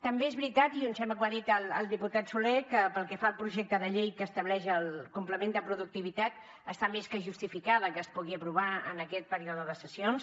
també és veritat i em sembla que ho ha dit el diputat solé que pel que fa al projecte de llei que estableix el complement de productivitat està més que justificat que es pugui aprovar en aquest període de sessions